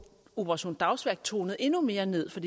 operation dagsværk tonet endnu mere ned for